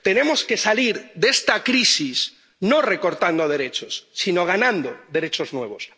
Tenemos que salir de esta crisis no recortando derechos, sino ganando derechos nuevos.